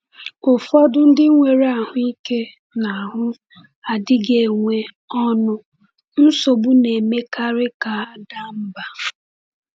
Ụfọdụ ndị nwere ahụ ike n’ahụ adịghị enwe ọṅụ, nsogbu na-emekarị ka ha daa mbà.